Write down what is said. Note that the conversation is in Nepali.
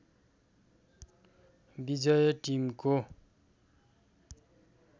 विजय टिमको